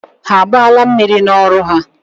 Ha agbaala mmiri n'ọrụ ha?